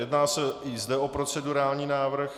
Jedná se i zde o procedurální návrh.